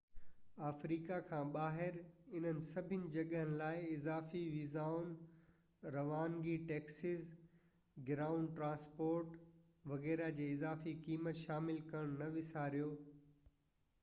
Africa کان ٻاهر انهن سڀني جڳهين لاءِ اضافي ويزائن روانگي ٽيڪسز گرائونڊ ٽرانسپورٽ وغيره جي اضافي قيمت شامل ڪرڻ نه وساريو